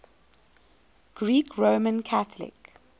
greek roman catholic